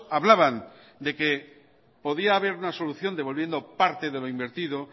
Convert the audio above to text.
hablaban de que podría haber una solución devolviendo parte de lo invertido